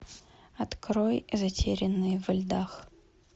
открой затерянные во льдах